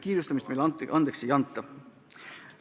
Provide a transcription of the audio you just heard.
Kiirustamist meile andeks ei anta.